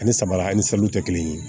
Ani sabara an ni saliw tɛ kelen ye